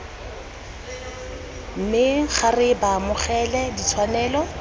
me ga re baamogela ditshwanelo